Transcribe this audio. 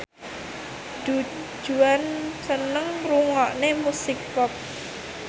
Du Juan seneng ngrungokne musik pop